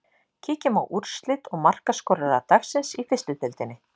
Kíkjum á úrslit og markaskorara dagsins í fyrstu deildinni.